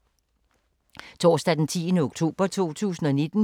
Torsdag d. 10. oktober 2019